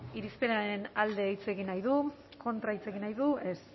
irizpenaren alde hitz egin nahi du kontra hitz egin nahi du ez